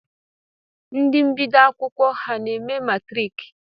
Ndi bdioro akwụkwọ ha na-eme matrik?